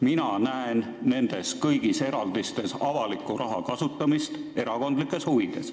Mina näen kõigis nendes eraldistes avaliku raha kasutamist erakondlikes huvides.